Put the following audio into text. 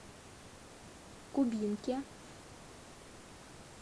кубинке